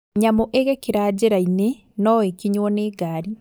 Nyamũ igĩkĩra njĩrainĩ noĩkinywo nĩ ngari